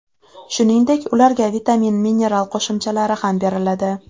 Shuningdek, ularga vitamin-mineral qo‘shimchalari ham beriladi.